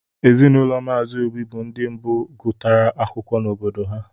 ezinụlọ mazi obi bu ndi mbu gutara akwụkwọ n' obodo ha.